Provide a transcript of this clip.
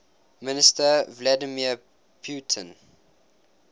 minister vladimir putin